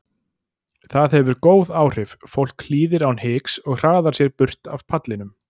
Það hefur góð áhrif, fólk hlýðir án hiks og hraðar sér burt af pallinum.